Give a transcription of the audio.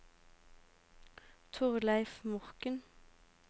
Torleif Morken